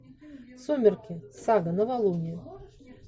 сумерки сага новолуние